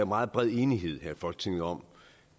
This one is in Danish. meget bred enighed her i folketinget om